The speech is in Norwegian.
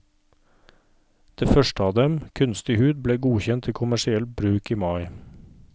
Det første av dem, kunstig hud, ble godkjent til kommersiell bruk i mai.